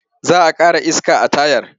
Za a ƙara iska a tayar.